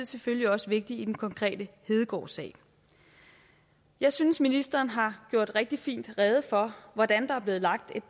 selvfølgelig også vigtig i den konkrete hedegaardsag jeg synes ministeren har gjort rigtig fint rede for hvordan der er blevet lagt